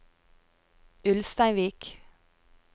Ulsteinvik